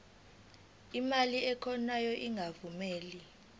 imali ekhokhwayo ingavumelani